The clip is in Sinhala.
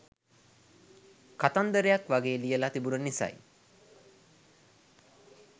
කතන්දරයක් වගේ ලියල තිබුන නිසයි